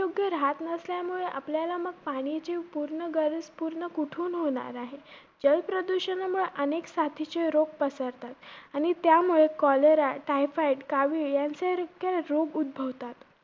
सारखे राहत नसल्यामुळे, आपल्याला मग पाण्याची पूर्ण गरज पूर्ण कोठून होणार आहे? जलप्रदूषणामुळे अनेक साथीचे रोग पसरतात आणि त्यामुळे cholera, typhoid कावीळ यांसारखे रोग उद्धाभवतात.